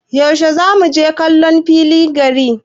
Yaushe zamu je kallo a filin gari?